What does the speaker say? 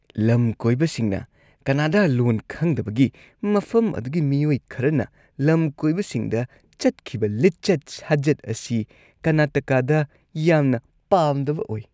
ꯂꯝꯀꯣꯏꯕꯁꯤꯡꯅ ꯀꯟꯅꯗꯥ ꯂꯣꯟ ꯈꯪꯗꯕꯒꯤ ꯃꯐꯝ ꯑꯗꯨꯒꯤ ꯃꯤꯑꯣꯏ ꯈꯔꯅ ꯂꯝꯀꯣꯏꯕꯁꯤꯡꯗ ꯆꯠꯈꯤꯕ ꯂꯤꯆꯠ- ꯁꯥꯖꯠ ꯑꯁꯤ ꯀꯔꯅꯥꯇꯀꯥꯗ ꯌꯥꯝꯅ ꯄꯥꯝꯗꯕ ꯑꯣꯏ ꯫